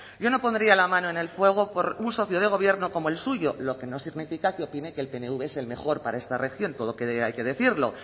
yo no pondría la mano en el fuego por un socio de gobierno como el suyo lo que no significa que opine que el pnv es el mejor para esta región todo hay que decirlo